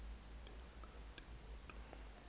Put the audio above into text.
ke kakade kodwa